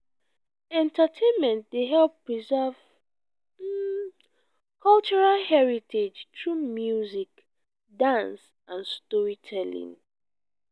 entertainment dey help preserve cultural heritage through music dance and storytelling.